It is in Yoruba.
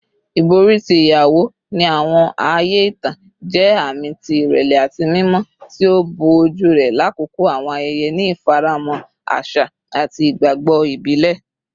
Ibori ti iyawo, ni awọn aaye itan, jẹ aami ti irẹlẹ ati mimọ, ti o bo oju rẹ lakoko awọn ayẹyẹ ni ifaramọ aṣa ati igbagbọ ibile.